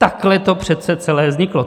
Takhle to přece celé vzniklo.